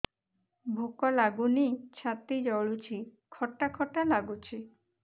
ଭୁକ ଲାଗୁନି ଛାତି ଜଳୁଛି ଖଟା ଖଟା ଲାଗୁଛି